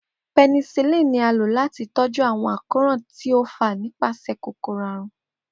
Penicillin ni a lo lati tọju awọn akoran ti o fa nipasẹ kokoro arun.